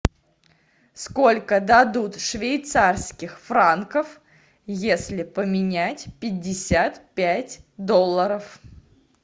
сколько дадут швейцарских франков если поменять пятьдесят пять долларов